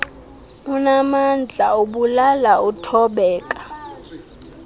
unaamandla ubulala uthobeka